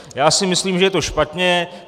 Já si myslím, že je to špatně.